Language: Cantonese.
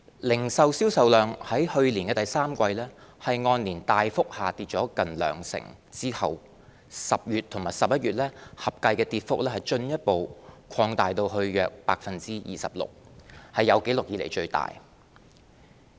零售銷售量在去年第三季按年大幅下跌近兩成後 ，10 月和11月合計的跌幅進一步擴大至約 26%， 是有紀錄以來最大。